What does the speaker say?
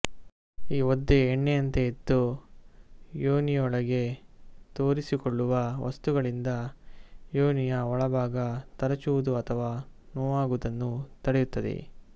ಈ ಒದ್ದೆಯೇ ಎಣ್ಣೆಯಂತೆ ಇದ್ದು ಯೋನಿಯೊಳಗೆ ತೋರಿಸಿಕೊಳ್ಳುವ ವಸ್ತುಗಳಿಂದ ಯೋನಿಯ ಒಳಭಾಗ ತರಚುವುದು ಅಥವಾ ನೋವಾಗುವುದನ್ನು ತಡೆಯುತ್ತದೆ